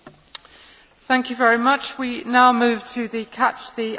We now move to the catch the eye part of the debate.